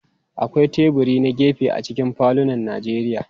Akwai teburi na gefe a cikin falunan Najeriya.